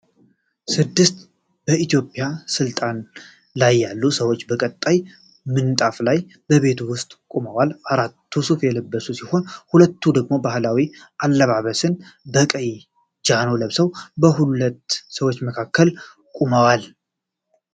ስድስት በኢትዮጵያ ስልጣን ላይ ያሉ ሰዎች በቀይ ምንጣፍ ላይ በቤት ውስጥ ቆመዋል። አራቱ ሱፍ የለበሱ ሲሆን ሁለቱ ደግሞ የባህላዊ አለባበስን በቀይ ጃኖ ለብሰው በሁለት ሰዎች መካከል ቆመዋል።